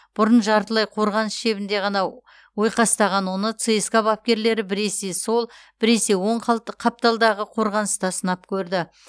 бұрын жартылай қорғаныс шебінде ғана ойқастаған оны цска бапкерлері біресе сол біресе оң қал қапталдағы қорғаныста сынап көрді